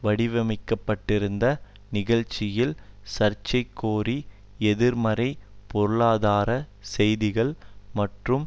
வடிவமைக்கப்பட்டிருந்த நிகழ்ச்சியில் சார்க்கோசி எதிர்மறைப் பொருளாதார செய்திகள் மற்றும்